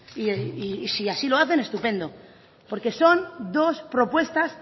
y si así lo hacen estupendo porque son dos propuestas